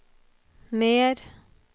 mer